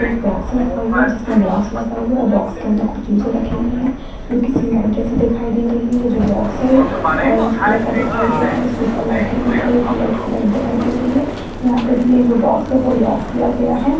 एक बॉक्स रखा हुआ है जिसमें ग्लास लगा हुआ है बॉक्स के अंदर कुछ चीज़ें रखी हुई हैं जो की सीमेंट जैसी दिखाई दे रही है ये जो बॉक्स हैं वो ऑरेंज कलर का दिखाई दे रहा है इसके ऊपर लाइटिंग दिखाई ट्यूबलाइट की लाइट दिखाई दे रही हैं यहाँ पर ये जो बॉक्स है वो लॉक किया गया है।